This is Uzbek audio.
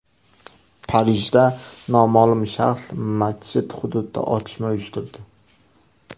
Parijda noma’lum shaxs masjid hududida otishma uyushtirdi.